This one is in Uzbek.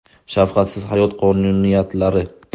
Shafqatsiz hayot qonuniyatlari.